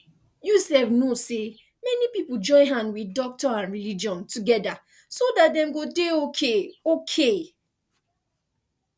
you sef know say many people join hand with doctor and religion together so dat dem go dey okay okay